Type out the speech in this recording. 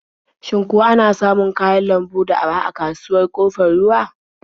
Shin ko ana samun kayan lambu da araha a kasuwar Ƙofar Ruwa?